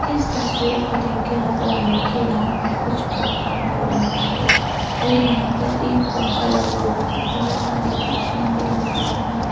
इस तस्वीर को देखके लग रहा है कि यहां पर कुछ प्रोग्राम हो रहा हे और यहां पर एक पंखा लगा हुआ है। बहोत सारी कुर्सियां भी लगी हुई है।